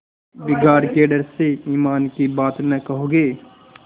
बिगाड़ के डर से ईमान की बात न कहोगे